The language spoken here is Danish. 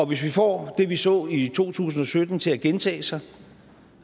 hvis vi får det vi så i to tusind og sytten til at gentage sig